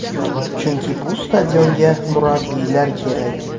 Chunki bu stadionga murabbiylar kerak”.